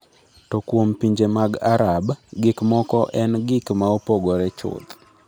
To kuom pinje mag Arab, gik moko engik ma opogore chuth.